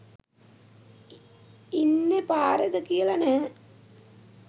ඉන්නෙ පාරෙද කියල නැහැ